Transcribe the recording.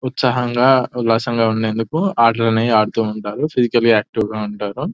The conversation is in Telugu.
ఉత్సాహంగా ఉల్లాసంగా ఉండేందుకు ఆటలన్నీ ఆడుతూ ఉంటారు ఫిజికల్లీ ఆక్టివ్ గా ఉంటారు.